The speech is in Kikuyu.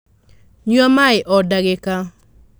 Nyua maī o ndagīka.